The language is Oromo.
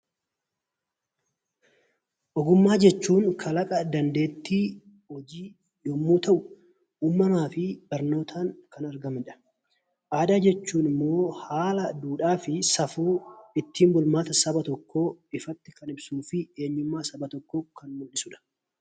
Ogummaa jechuun kalaqa dandeettii hojii yommuu ta'u, uumamaa fi barnootaan kan argamudha. Aadaa jechuun immoo haala duudhaa safuu uummata tokko ifatti insuu fi eenyummaa saba tokkoo kan ibsudha.